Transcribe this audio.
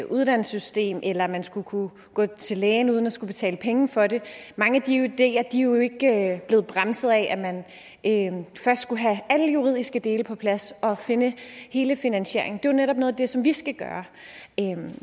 uddannelsessystem eller at man skulle kunne gå til lægen uden at skulle betale penge for det mange af de ideer er jo ikke blevet bremset af at man først skulle have alle juridiske dele på plads og finde hele finansieringen det jo netop noget af det som vi skal gøre